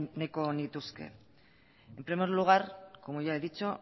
nahiko nituzke en primer lugar como ya he dicho